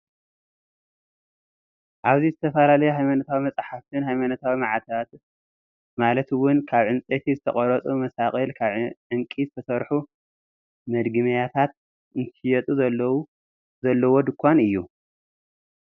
ኣብዚ ዝተፈላለዩ ሃይማኖታዊ መፅሓፍትን ሃይማኖታዊ ማዕተባት ማለት እውን ካብ ዕንፀይቲ ዝተቐረፁ ማሳቕል፣ ካብ ዕንቂ ዝተሰርሑ መድገሚያታትን እንትሽየጡ ዘለዎ ድንኳን እዩ፡፡